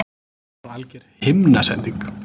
Hún var alger himnasending!